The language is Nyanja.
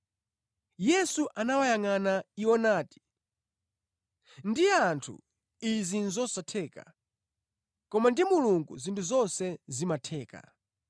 Yesu anawayangʼana iwo nati, “Ndi anthu, izi nʼzosatheka, koma ndi Mulungu zinthu zonse zimatheka.”